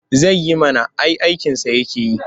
Zai yi mana ai aikinsa yake yi.